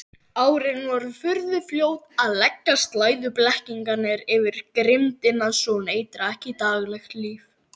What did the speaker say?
Árin voru furðufljót að leggja slæðu blekkingarinnar yfir grimmdina svo hún eitraði ekki daglegt líf.